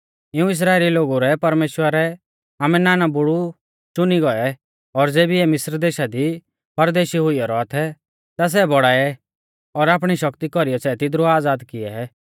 इऊं इस्राइली लोगु रै परमेश्‍वरै आमारै नानबुड़ु च़ुनी गौऐ और ज़ेबी इऐ मिस्र देशा दी परदेशी हुइयौ रौआ थै ता सै बौड़ाऐ और आपणी शक्ति कौरीऐ सै तिदरु आज़ाद किऐ